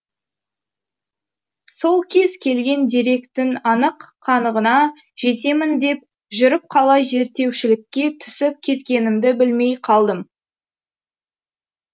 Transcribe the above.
сол кез келген деректің анық қанығына жетемін деп жүріп қалай зерттеушілікке түсіп кеткенімді білмей қалдым